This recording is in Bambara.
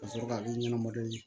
Ka sɔrɔ ka i ɲɛnɛma dɔn